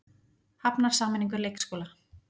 Hafnar sameiningu leikskóla